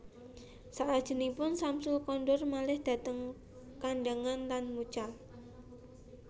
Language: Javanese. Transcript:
Salajengipun Syamsul kondur malih dhateng Kandangan lan mucal